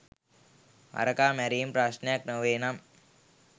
හරකා මැරීම ප්‍රශ්නයක් නොවේනම්